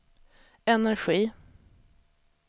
energi